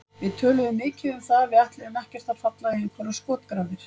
Við töluðum mikið um það að við ætluðum ekkert að falla í einhverjar skotgrafir.